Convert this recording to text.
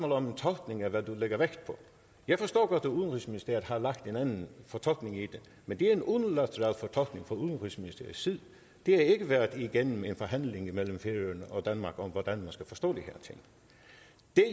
om en tolkning af hvad du lægger vægt på jeg forstår godt at udenrigsministeriet har lagt en anden fortolkning i det men det er en unilateral fortolkning fra udenrigsministeriets side det har ikke været igennem en forhandling mellem færøerne og danmark om hvordan man skal forstå de